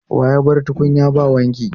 Wa ya bar tukunyan ba wanki?